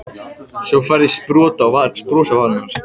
Svo færðist bros fram á varirnar.